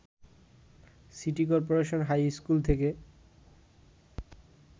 city corporation high school থেকে